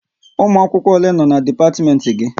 Ụmụ akwụkwọ ole nọ n'dipatimenti gị?